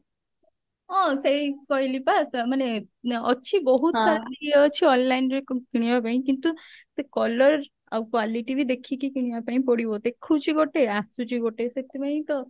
ହଁ ସେଇ କହିଲି ପା ମାନେ ଅଛି ବହୁତ ସାରା ଇଏ ଅଛି online ରେ କିଣିବା ପାଇଁ କିନ୍ତୁ ସେ colour ଆଉ quality ବି ଦେଖିକି କିଣିବା ପାଇଁ ପଡିବ ଦେଖଉଛି ଗୋଟେ ଆସୁଛି ଗୋଟେ ସେଥିପାଇଁ ତ